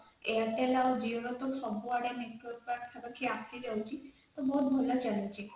airtel ଆଉ Jio ର ତ network ସବୁଆଡେ ପାଖାପାଖି ଆସିଯାଇଛି ତ ବହୁତ ଭଲ ଚାଲିଛି